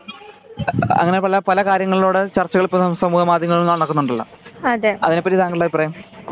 അങ്ങനെ അങ്ങനെ പല കാര്യങ്ങളും ഇവിടെ സമൂഹ മദ്ര്യമങ്ങളിലൂടെ നടക്കുന്നുണ്ടല്ലോ? അതെ പറ്റി താങ്കളുടെ അഭിപ്രായം?